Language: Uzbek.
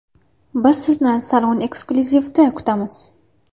Biz sizni Salon Exclusive’da kutamiz!